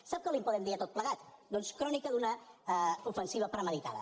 sap com en podem dir de tot plegat doncs crònica d’una ofensiva premeditada